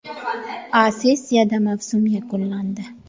A seriyada mavsum yakunlandi.